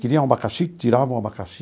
Queria um abacaxi, tirava o abacaxi.